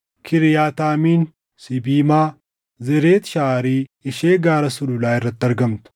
Kiriyaataayim, Sibimaa, Zeret Shahari ishee gaara sululaa irratti argamtu,